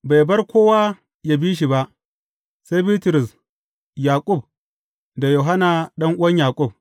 Bai bar kowa ya bi shi ba, sai Bitrus, Yaƙub da Yohanna ɗan’uwan Yaƙub.